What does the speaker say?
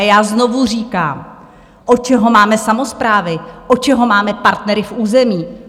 A já znovu říkám, od čeho máme samosprávy, od čeho máme partnery v území?